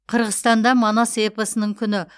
қырғызстанда манас эпосының күні